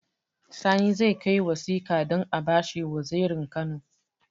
Sani zai kai wasika don abashi wazirin kano